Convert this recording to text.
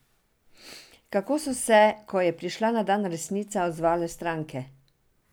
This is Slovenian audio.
Kako so se, ko je prišla na dan resnica, odzvale stranke?